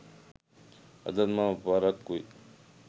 අදත් මම පරක්කුයි